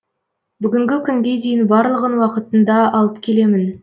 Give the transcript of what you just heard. бүгінгі күнге дейін барлығын уақытында алып келемін